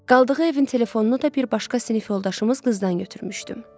Qaldığı evin telefonunu da bir başqa sinif yoldaşımız qızdan götürmüşdüm.